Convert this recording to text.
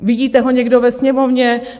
Vidíte ho někdo ve Sněmovně?